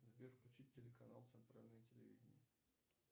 сбер включить телеканал центральное телевидение